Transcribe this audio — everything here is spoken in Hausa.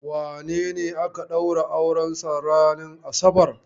Wane ne aka ɗaura aurensa ranin asabar?